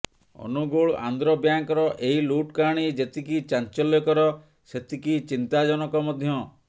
ଅନୁଗୁଳ ଆନ୍ଧ୍ର ବ୍ୟାଙ୍କର ଏହି ଲୁଟ୍ କାହାଣୀ ଯେତିକି ଚାଂଚଲ୍ୟକର ସେତିକି ଚିନ୍ତାଜନକ ମଧ୍ୟ